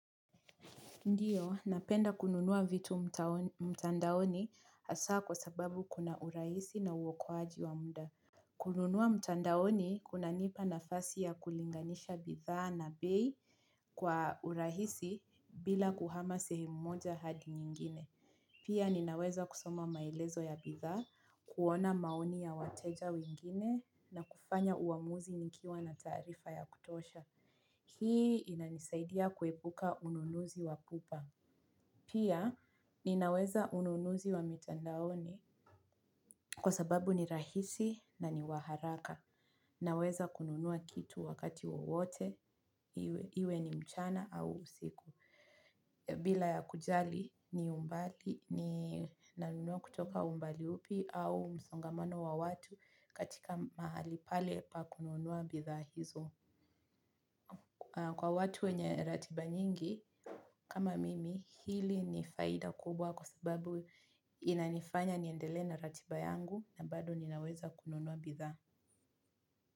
Ndiyo, napenda kununua vitu mtandaoni hasa kwa sababu kuna urahisi na uokoaji wa mda. Kununua mtandaoni kuna nipa nafasi ya kulinganisha bidhaa na bei kwa urahisi bila kuhama sehemu moja hadi nyingine. Pia ninaweza kusoma maelezo ya bidhaa, kuona maoni ya wateja wengine na kufanya uamuzi nikiwa na taarifa ya kutosha. Hii inanisaidia kuepuka ununuzi wapupa. Pia, ninaweza ununuzi wa mitandaoni kwa sababu ni rahisi na ni wa haraka. Naweza kununua kitu wakati wowote, iwe ni mchana au usiku. Bila ya kujali ni umbali, ninanunua kutoka umbali upi au msongamano wa watu katika mahali pale pa kununua bidhaa hizo. Kwa watu wenye ratiba nyingi, kama mimi, hili ni faida kubwa kwa sababu inanifanya niendelee na ratiba yangu na bado ninaweza kununua bidhaa.